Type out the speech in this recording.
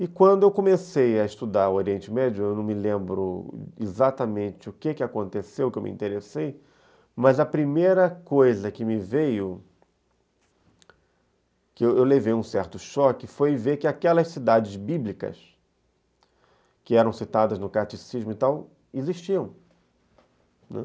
E quando eu comecei a estudar o Oriente Médio, eu não me lembro exatamente o que aconteceu, o que eu me interessei, mas a primeira coisa que me veio, que eu levei um certo choque, foi ver que aquelas cidades bíblicas, que eram citadas no Catecismo e tal, existiam.